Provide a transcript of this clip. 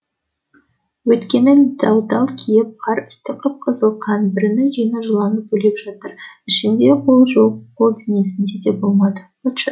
өйткені дал дал киім қар үсті қып қызыл қан бірінің жеңі жұлынып бөлек жатыр ішінде қол жоқ қол денесінде де болмады быт шыт